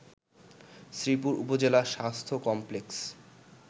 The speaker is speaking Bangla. শ্রীপুর উপজেলা স্বাস্থ্য কমপ্লেক্স